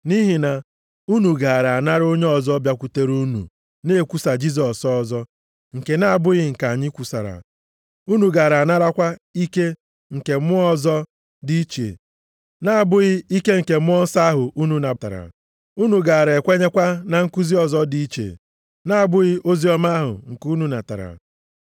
Nʼihi na unu gaara anara onye ọzọ bịakwutere unu na-ekwusa Jisọs ọzọ nke na-abụghị nke anyị kwusara, unu gaara anarakwa ike nke mmụọ ọzọ dị iche na-abụghị ike nke Mmụọ Nsọ ahụ unu natara, unu gaara ekwenyekwa na nkuzi ọzọ dị iche, na-abụghị oziọma ahụ nke unu natara.